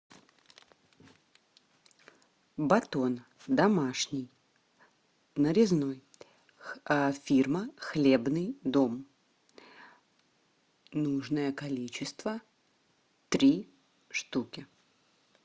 батон домашний нарезной фирма хлебный дом нужное количество три штуки